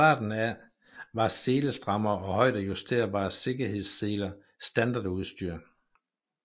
Fra starten af var selestrammere og højdejusterbare sikkerhedsseler standardudstyr